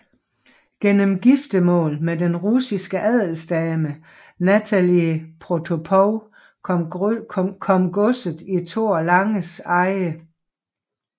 Gennem giftermål med den russiske adelsdame Natalie Protopopov kom godset i Thor Langes eje